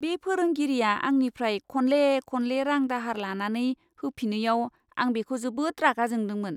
बे फोरोंगिरिया आंनिफ्राय खनले खनले रां दाहार लानानै होफिनैयाव, आं बिखौ जोबोद रागा जोंदोंमोन!